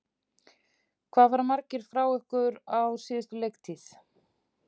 Hvað fara margir frá ykkur frá síðustu leiktíð?